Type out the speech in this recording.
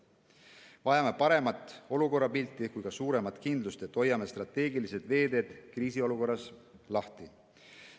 Vajame nii paremat pilti olukorrast kui ka suuremat kindlust, et hoiame strateegilised veeteed kriisiolukorras lahti.